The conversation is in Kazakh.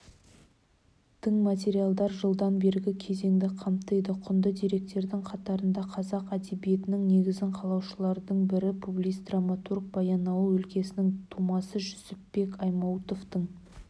тың материалдар жылдан бергі кезеңді қамтиды құнды деректердің қатарында қазақ әдебиетінің негізін қалаушылардың бірі публицист драматург баянауыл өлкесінің тумасы жүсіпбек аймауытовтың